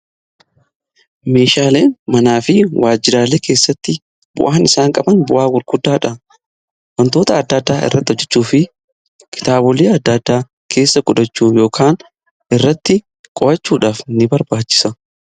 meeshaalee manaa fi waajjiraalee keessatti bu'aan isaan qaban bu'aa gurguddaadha. wantoota addaa ddaa irratti hojjechuu fi kitaabilee adda addaa keessa godhachuuf yookan irratti qo'achuudhaaf ni barbaachisa.